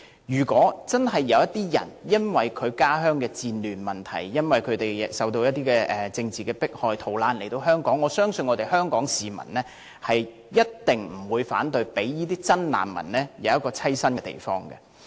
如果有人真的因為家鄉的戰亂問題或受到政治迫害而逃難來港，我相信香港市民一定不會反對為這些真正的難民提供棲身之處。